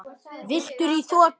Villtir í þoku